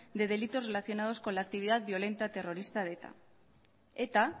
de delitos relacionados con la actividad violenta terrorista de eta eta